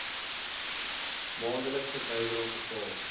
maandelikse bydraes betaal